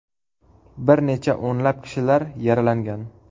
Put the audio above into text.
Bir necha o‘nlab kishilar yaralangan.